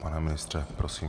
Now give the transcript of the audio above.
Pane ministře, prosím.